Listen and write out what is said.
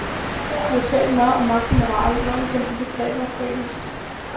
Du har talt meget om magt og moral, hvordan kan de begreber forenes?